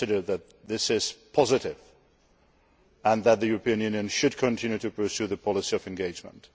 We consider that this is positive and that the European Union should continue to pursue the policy of engagement.